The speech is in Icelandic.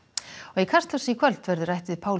í Kastljósi í kvöld verður rætt við Pál